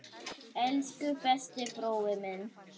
Elsku besti brói minn.